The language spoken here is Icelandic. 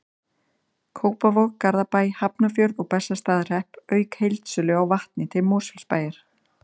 Kópavog, Garðabæ, Hafnarfjörð og Bessastaðahrepp, auk heildsölu á vatni til Mosfellsbæjar.